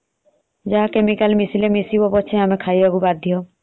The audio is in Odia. ଯାହା chemical ମିସିଲେ ମିଶୁ ପଛେ ଆମେ ଖାଇବାକୁ ବାଧ୍ୟ।